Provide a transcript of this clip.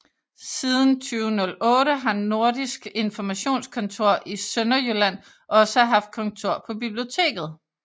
Siden 2008 har Nordisk Informationskontor i Sønderjylland også haft kontor på biblioteket